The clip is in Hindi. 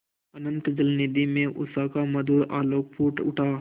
अनंत जलनिधि में उषा का मधुर आलोक फूट उठा